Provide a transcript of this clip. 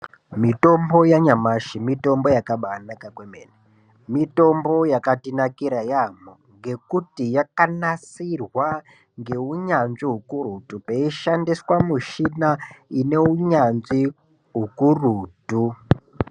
Mitombo yanyamashi mitombo yakabainaka komene mitombo yakatinakira yamo ngekuti yakanasirwa ngeunyanzvi ukurutu peshandiswa mishina ineunyanzvi ukurutu.